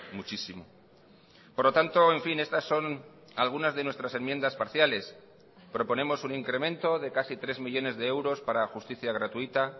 muchísimo por lo tanto en fin estas son algunas de nuestras enmiendas parciales proponemos un incremento de casi tres millónes de euros para justicia gratuita